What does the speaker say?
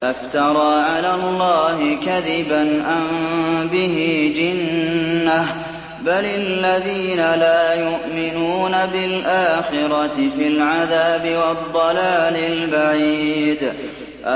أَفْتَرَىٰ عَلَى اللَّهِ كَذِبًا أَم بِهِ جِنَّةٌ ۗ بَلِ الَّذِينَ لَا يُؤْمِنُونَ بِالْآخِرَةِ فِي الْعَذَابِ وَالضَّلَالِ الْبَعِيدِ